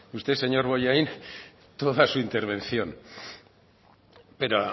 usted señor bollain toda su intervención pero